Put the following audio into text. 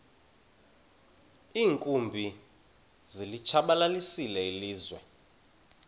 iinkumbi zilitshabalalisile ilizwe